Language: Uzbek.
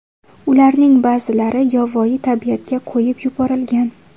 Ularning ba’zilari yovvoyi tabiatga qo‘yib yuborilgan.